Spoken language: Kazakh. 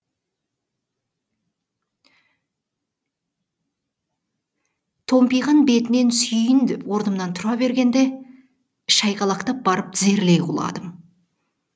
томпиған бетінен сүйейін деп орнымнан тұра бергенде шайқалақтап барып тізерлей құладым